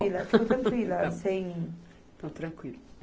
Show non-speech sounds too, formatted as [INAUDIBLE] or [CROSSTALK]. [UNINTELLIGIBLE] [LAUGHS] Ficou tranquila, sem... Ficou tranquila.